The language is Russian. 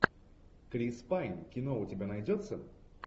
крис пайн кино у тебя найдется